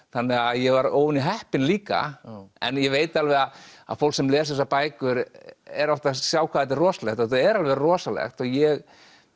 þannig að ég var óvenju heppinn líka en ég veit alveg að fólk sem les þessar bækur er oft að sjá hvað þetta er rosalegt þetta er alveg rosalegt og ég